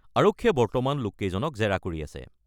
আৰক্ষীয়ে বৰ্তমান লোককেইজনক জেৰা কৰি আছে।